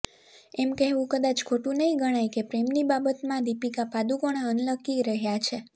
એમ કહેવું કદાચ ખોટુ નહીં ગણાય કે પ્રેમની બાબતમાં દીપિકા પાદુકોણે અનલકી રહ્યાં છે